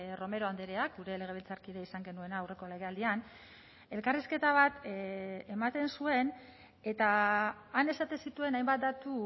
romero andreak gure legebiltzarkide izan genuena aurreko legealdian elkarrizketa bat ematen zuen eta han esaten zituen hainbat datu